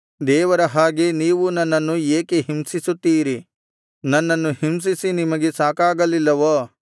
ದೇವರ ಹಾಗೆ ನೀವೂ ನನ್ನನ್ನು ಏಕೆ ಹಿಂಸಿಸುತ್ತೀರಿ ನನ್ನನ್ನು ಹಿಂಸಿಸಿ ನಿಮಗೆ ಸಾಕಾಗಲಿಲ್ಲವೋ